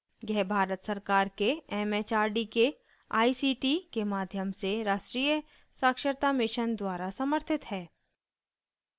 यह भारत सरकार के एमएचआरडी के आईसीटी के माध्यम से राष्ट्रीय साक्षरता mission द्वारा समर्थित है